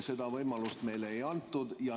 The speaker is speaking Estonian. Seda võimalust meile ei antud.